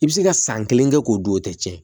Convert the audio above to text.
I bɛ se ka san kelen kɛ k'o dun o tɛ tiɲɛ